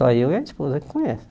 Só eu e a esposa que conhece.